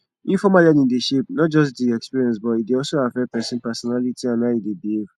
informal learning dey shape not just di experience but e dey also affect person personality and how e dey behave